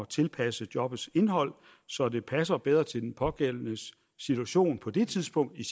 tilpasse jobbets indhold så det passer bedre til den pågældendes situation på det tidspunkt i